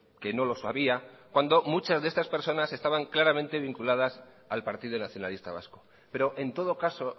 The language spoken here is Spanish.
que no lo sabía cuando muchas de estas personas estaban claramente vinculadas al partido nacionalista vasco pero en todo caso